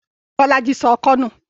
Bọ́lá í sọ ọkọ́ nù.